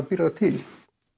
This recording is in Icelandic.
býr það til